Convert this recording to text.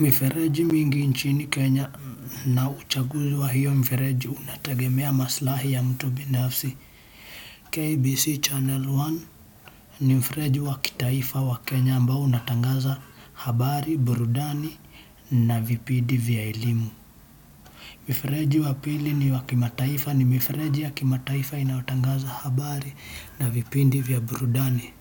mifereji mingi nchini Kenya na uchaguzi wa hiyo mfereji unategemea maslahi ya mtu binafsi. KBC Channel One ni mfereji wa kitaifa wa Kenya ambao unatangaza habari, burudani na vipindi vya elimu. Mifereji wa pili ni wa kimataifa ni mifereji ya kimataifa inayotangaza habari na vipindi vya burudani.